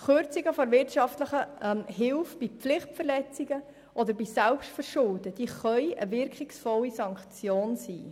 Kürzungen der wirtschaftlichen Hilfe bei Pflichtverletzungen oder Selbstverschulden können eine wirkungsvolle Sanktion sein.